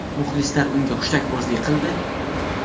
Muxlislar unga hushtakbozlik qildi?